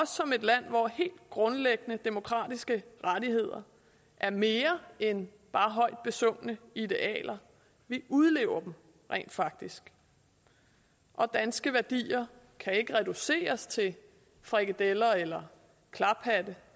som et land hvor helt grundlæggende demokratiske rettigheder er mere end bare højt besungne idealer vi udlever dem rent faktisk og danske værdier kan ikke reduceres til frikadeller eller klaphatte